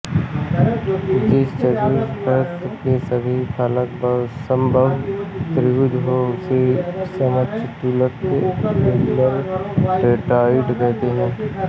जिस चतुष्फलक के सभी फलक समबाहु त्रिभुज हों उसे समचतुष्फलक रेगुलर टेट्राहेड्रॉन कहते हैं